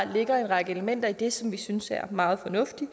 ligger en række elementer i det som vi synes er meget fornuftige